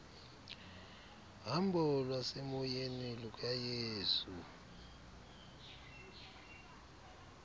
hambo lwasemoyeni lukayesu